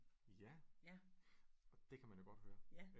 Ja og det kan man jo godt høre